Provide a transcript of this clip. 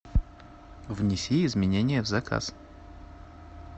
внеси изменения в заказ